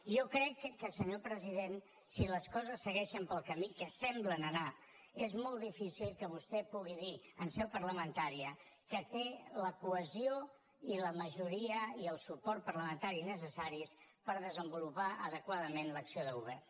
jo crec que senyor president si les coses segueixen pel camí que semblen anar és molt difícil que vostè pugui dir en seu parlamentària que té la cohesió i la majoria i el suport parlamentari necessaris per desenvolupar adequadament l’acció de govern